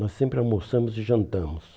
Nós sempre almoçamos e jantamos.